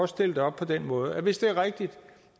stille det op på den måde at hvis det er rigtigt